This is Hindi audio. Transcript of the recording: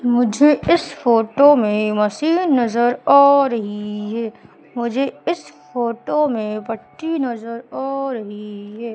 मुझे इस फोटो में मशीन नजर आ रही है मुझे इस फोटो में पट्टी नजर आ रही है।